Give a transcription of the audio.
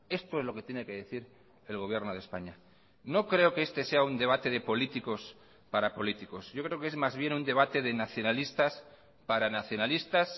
esto es lo que tiene que decir el gobierno de españa no creo que este sea un debate de políticos para políticos yo creo que es más bien un debate de nacionalistas para nacionalistas